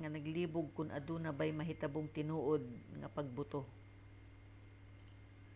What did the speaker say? nga malibog kon aduna bay nahitabong tinuod nga pagbuto